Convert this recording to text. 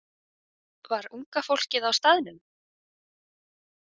Var unga fólkið á staðnum?